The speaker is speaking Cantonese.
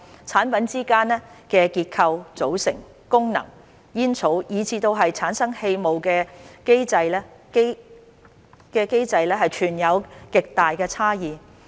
產品之間在結構、組成、功能、煙草，以至產生氣霧的機制存有極大差異。